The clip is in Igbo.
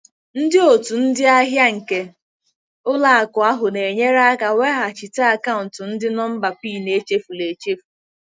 Ndị otu ndị ahịa nke ụlọ akụ ahụ na-enyere aka weghachite akaụntụ ndị nọmba PIN echefuru echefu.